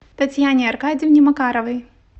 татьяне аркадьевне макаровой